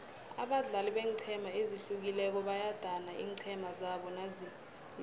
abadlali beenqhema ezihlukileko bayadana iinqhema zabo nazilobako